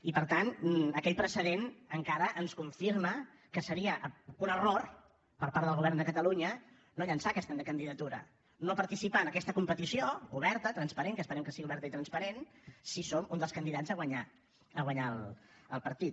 i per tant aquell precedent encara ens confirma que seria un error per part del govern de catalunya no llançar aquesta candidatura no participar en aquesta competició oberta transparent que esperem que sigui oberta i transparent si som un dels candidats a guanyar el partit